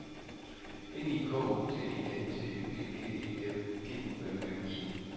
N I K O T I N T Y G G E G U M M I